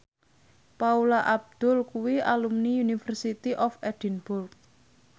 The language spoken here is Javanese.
Paula Abdul kuwi alumni University of Edinburgh